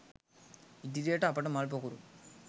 ඉදිරියට අපට මල් පොකුරු